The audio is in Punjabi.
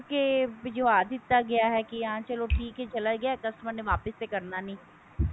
ਭਿਜਵਾ ਦਿਤਾ ਗਿਆ ਹੈ ਕਿ ਹਬ ਚੱਲੋ ਠੀਕ ਹੈ ਚਲਾ ਗਿਆ customer ਤੇ ਵਾਪਿਸ ਤਾਂ ਕਰਨਾ ਨਹੀਂ